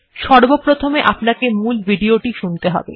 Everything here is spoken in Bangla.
সর্বপ্রথমে আপনাকে মূল ভিডিওটি শুনতে হবে